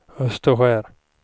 Österskär